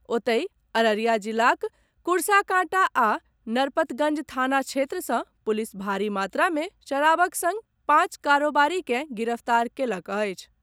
ओतहि, अररिया जिलाक कुर्साकांटा आ नरपतगंज थाना क्षेत्र सँ पुलिस भारी मात्रा मे शराबक संग पांच कारोबारी के गिरफ्तार कयलक अछि।